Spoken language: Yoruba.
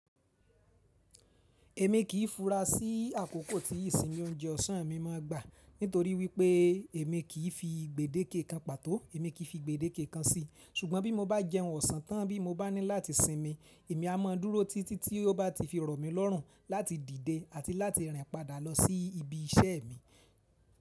Èmi kì í fura sí àkókò tí ìsinmi oúnjẹ ọ̀sán mi máa gbà nítorí wípé èmi kì í fi gbèdéke kan pàtó, èmi kì í fi gbèdéke kan sí i. Ṣùgbọ́n bí mo bá jẹun ọ̀sán tán bí mo bá ní láti sinmi, èmi a máa dúró títí tí ó bá ti fi irọ̀ mi lọ́rùn láti dìde àti láti rìn padà lọ sí ibi iṣẹ́ mi.